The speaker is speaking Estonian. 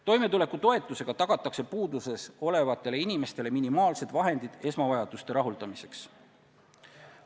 Toimetulekutoetusega tagatakse puuduses olevatele inimestele minimaalsed vahendid esmavajaduste rahuldamiseks.